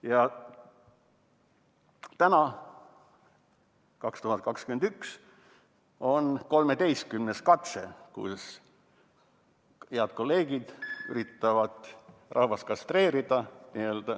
Ja täna, 2021, on 13. katse, kui head kolleegid üritavad rahvast kastreerida.